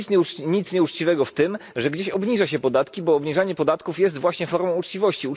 Nie ma nic nieuczciwego w tym, że gdzieś obniża się podatki, bo obniżanie podatków jest właśnie formą uczciwości.